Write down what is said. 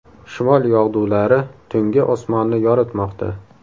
Shimol yog‘dulari tunggi osmonni yoritmoqda.